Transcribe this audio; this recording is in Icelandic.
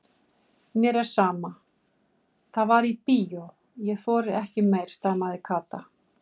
Mér er sama, það var í bíó, ég þori ekki meir stamaði Kata.